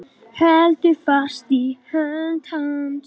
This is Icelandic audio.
Heldur fast í hönd hans.